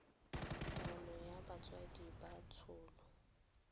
taolo ya botsadi ka tsholo